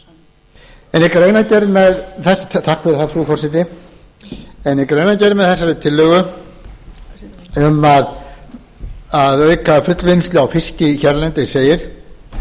fá hæstvirtan ráðherra í salinn takk fyrir það frú forseti en í greinargerð með þessari tillögu um að auka fullvinnslu á fiski hérlendis segir